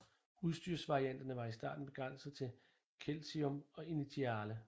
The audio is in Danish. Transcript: Udstyrsvarianterne var i starten begrænset til Celsium og Initiale